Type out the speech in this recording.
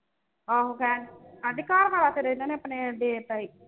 ਆਹੋ ਕਹਿਣ ਆਂਦੀ ਘਰ ਵਾਲਾ ਫਿਰ ਇਨ੍ਹਾਂ ਨੇ ਆਪਣੇ ਦੇ ਤਾ ਹੀ